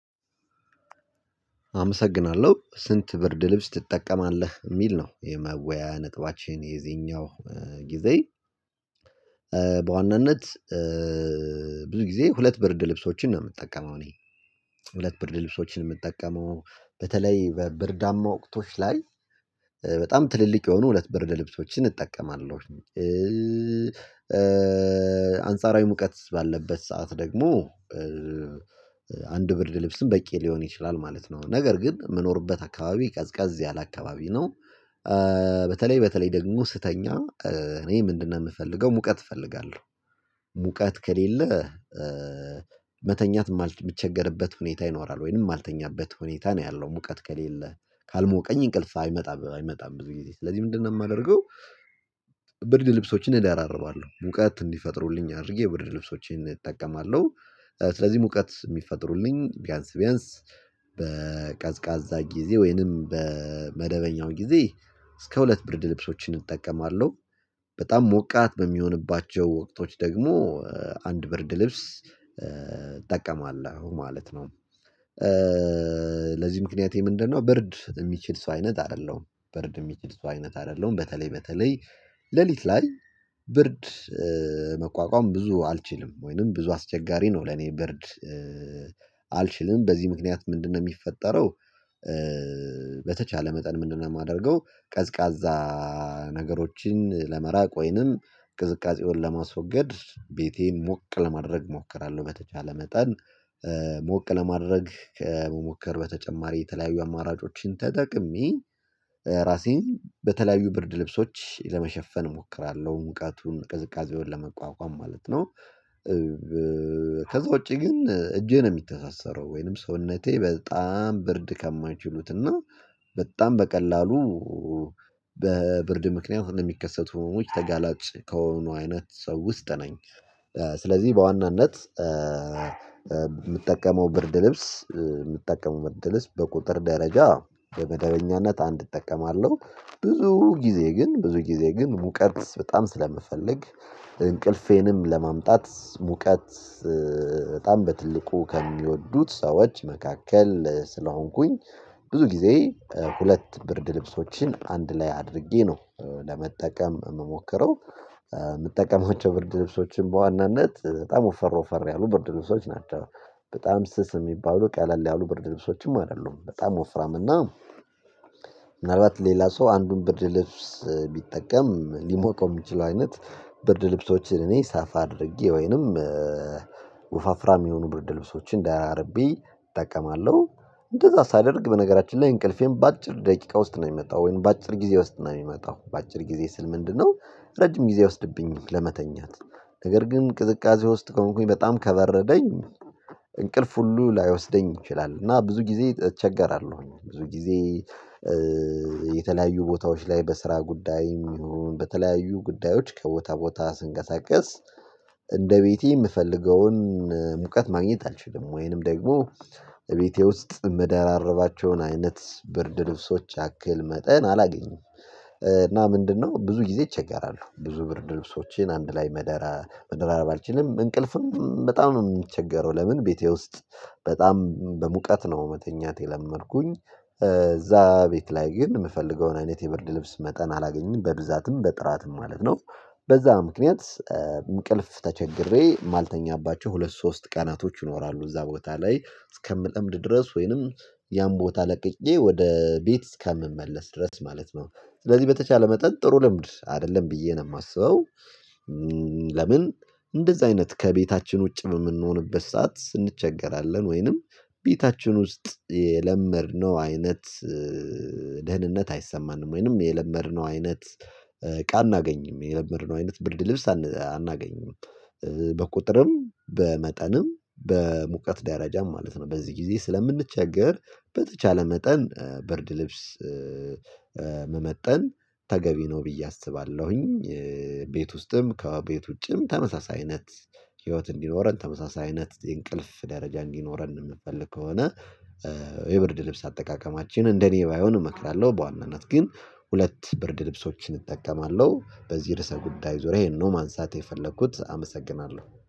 አመሰግናለሁ። ስንት ብርድ ልብስ ትጠቀማለህ የሚል ነው? የመወያያ ነጥባችን የዚኛው ጊዜ በዋናነት ብዙ ጊዜ ሁለት ብርድ ልብሶችን ነው የምትጠቀመው። እኔ ሁለት ብርድ ልብሶችን የምጠቀመው በተለይ በብርዳማ ወቅቶች ላይ በጣም ትልልቅ የሆኑ ሁለት ብር ለልብሶችን እጠቀማለሁ። አንጻራዊ ሙቀት ባለበት ሰዓት ደግሞ ብርድ ልብስም በቂ ሊሆን ይችላል ማለት ነው። ነገር ግን ምኖርበት አካባቢ ቀዝቀዝ ያለ አካባቢ ነው። በተለይ በተለይ ደግሞ ስተኛ እኔ ምንድነው የምፈልገው ሙቀት እፈልጋለሁ። ሙቀት ከሌለ መተኛት የምቸገርበት ሁኔታ ይኖራል ወይንም ማልተኛበት ሁኔታ ነው ያለው ሙቀት ከሌለ ካልሞቀኝ እንቅልፍ አይመጣም አይመጣም ብዙ ጊዜ ስለዚህ ምንድነው የማደርገው? ብርድ ልብሶችን እደራርባለሁ ሙቀት እንዲፈጥሩልኝ አድርጌ ብርድ ልብሶችን እጠቀማለሁ። ስለዚህ ሙቀት የሚፈጥሩልኝ ቢያንስ ቢያንስ በቀዝቃዛ ጊዜ ወይንም በመደበኛው ጊዜ እስከ ሁለት ብርድ ልብሶችን እጠቀማለሁ። በጣም ሞቃት በሚሆንባቸው ወቅቶች ደግሞ አንድ ብርድ ልብስ እጠቀማለው ማለት ነው። ለዚህ ምክንያቴ የምንደነው ብርድ እምችል ሰው አይነት አይደለሁም። ብርድ የሚችል ሰው አይነት አይደለሁም። በተለይ በተለይ ሌሊት ላይ ብርድ ብዙ አልችልም ወይንም ብዙ አስቸጋሪ ነው። ለኔ ብርድ በዚህ ምክንያት ምንድነው የሚፈጠረው? በተቻለ መጠን ምንድነው የማደርገው? ቀዝቃዛ ነገሮችን ለመራቅ ወይንም ቅዝቃዜውን ለማስወገድ ቤቴን ሞቅ ለማድረግ እሞክራለሁ። በተቻለ መጠን ሞቅ ለማድረግ ከመሞከር በተጨማሪ የተለያዩ አማራጮችን ተጠቅሜ ራሴን በተለያዩ ብርድ ልብሶች ለመሸፈን እሞክራለሁ ሙቃቱን ቅዝቃዜውን ለመቋቋም ማለት ነው። ከዛ ውጪ ግን እጄ ነው የሚተሳሰረው ወይንም ሰውነቴ በጣም ብርድ ከማይችሉት እና በጣም በቀላሉ በብርድ ምክንያት እንደሚከሰቱ ሆኖዎች ተጋላጭ ከሆኑ አይነት ሰው ውስጥ ነኝ። ስለዚህ በዋናነት ምጠቀመው ብርድ ልብስ ምጠቀመው ብርድ ልብስ በቁጥር ደረጃ በመደበኛነት አንድ እጠቀማለሁ። ብዙ ጊዜ ግን ብዙ ጊዜ ግን ሙቀት በጣም ስለምፈልግ እንቅልፌንም ለማምጣት ሙቀት በጣም በትልቁ ከሚወዱት ሰዎች መካከል ስለሆንኩኝ ብዙ ጊዜ ሁለት ብርድ ልብሶችን አንድ ላይ አድርጌ ነው ለመጠቀም የምሞክረው። ምጠቀማቸው ብርድ ልብሶችን በዋናነት በጣም ወፈር ወፈር ያሉ ብርድ ልብሶች ናቸው። በጣም ስስ የሚባሉ ቀለል ያሉ ብርድ ልብሶችም አይደሉም በጣም ወፍራም እና ምናልባት ሌላ ሰው አንዱን ብር ልብስ ቢጠቀም ሊሞቀው የሚችለው አይነት ብርድ ልብሶችን እኔ ሰፋ አድርጌ ወይንም የሚሆኑ ብርድ ልብሶችን ደራርቤ እጠቀማለሁ። እንደዛ ሳደርግ በነገራችን ላይ እንቅልፌም በአጭር ደቂቃ ውስጥ ነው የሚመጣው ወይም በአጭር ጊዜ ውስጥ ነው የሚመጣው። በአጭር ጊዜ ስል ምንድነው ረጅም ጊዜ አይወስድብኝም ለመተኛት። ነገር ግን ቅዝቃዜ ውስጥ ከሆንኩኝ በጣም ከበረደኝ እንቅልፍ ሁሉ ላይወስደኝ ይችላል እና ብዙ ጊዜ እቸገራለሁኝ። ብዙ ጊዜ የተለያዩ ቦታዎች ላይ በስራ ጉዳይ ይሁን በተለያዩ ጉዳዮች ከቦታ ቦታ ስንቀሳቀስ እንደ ቤቴ የምፈልገውን ሙቀት ማግኘት አልችልም ወይንም ደግሞ እቤቴ ውስጥ ምደራርባቸውን አይነት ብርድ ልብሶች ያክል መጠን አላገኘም። እና ምንድነው ብዙ ጊዜ እቸገራልው። ብዙ ብር ልብሶችን አንድ ላይ መደራ መደራረብ አልችልም እንቅልፍም በጣም ነው የምቸገረው። ለምን ቤቴ ውስጥ በጣም በሙቀት ነው መተኛት የለመድኩኝ። እዛ ቤት ላይ ግን የምፈልገውን አይነት የብርድ ልብስ መጠን አላገኘም በብዛትም በጥራትም ማለት ነው። በዛ ምክንያት እንቅልፍ ተቸግሬ ማልተኛባቸው ሁለት ሶስት ቀናቶች ይኖራሉ። እዛ ቦታ ላይ እስከ ምለምድ ድረስ ወይንም ያን ቦታ ለቅቄ ወደ ቤት እስከ ምመለስ ድረስ ማለት ነው። ስለዚህ በተቻለ መጠን ጥሩ ልምድ አይደለም ብዬ ነው የማስበው። ለምን? እንደዛ አይነት ከቤታችን ውጭ በምንሆንበት ሰዓት እንቸገራለን ወይንም ቤታችን ውስጥ የለመድነው አይነት ደህንነት አይሰማንም ወይንም የለመድነው አይነት እቃ አናገኝም የለመድነው አይነት ብርድ ልብስ አናገኝም። በቁጥርም በመጠንም በሙቀት ደረጃም ማለት ነው በዚህ ጊዜ ስለምንቸገር በተቻለ መጠን ብርድ ልብስ መመጠን ተገቢ ነው ብዬ አስባለሁኝ። ቤት ውስጥም ከቤት ውጭም ተመሳሳይ አይነት ህይወት እንዲኖረን ተመሳሳይ አይነት እንቅልፍ ደረጃ እንዲኖረን የምንፈልግ ከሆነ የብርድ ልብስ አጠቃቀማችን እንደኔ ባይሆን እመክራለሁ። በዋናነት ግን ሁለት ብርድ ልብሶችን እጠቀማለሁ። በዚህ ርዕሰ ጉዳይ ዙሪያ ይሄ ነው ማንሳት የፈለኩት አመሰግናለሁ